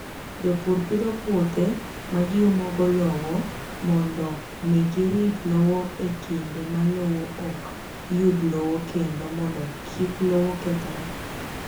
Jopur pidho puothe ma giumogo lowo mondo mi girit lowo e kinde ma lowo ok yud lowo kendo mondo kik lowo kethre.